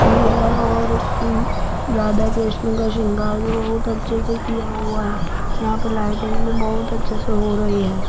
भी है और उ राधा कृष्ण का सिंगार भी बहुत अच्छे से किया हुआ है यहां पर लाइटिंग में बहुत अच्छे से हो रही है।